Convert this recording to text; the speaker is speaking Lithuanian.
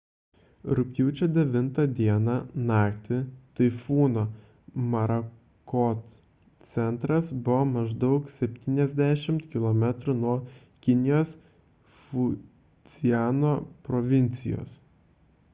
rugpjūčio 9 d naktį taifūno morakot centras buvo maždaug septyniasdešimt kilometrų nuo kinijos fudziano provincijos